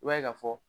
I b'a ye ka fɔ